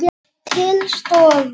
Til stofu.